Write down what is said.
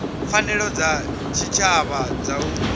pfanelo dza tshitshavha dza u